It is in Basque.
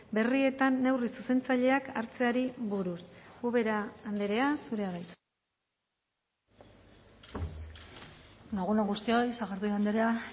berrietan neurri zuzentzaileak hartzeari buruz ubera andrea zurea da hitza egun on guztioi sagardui andrea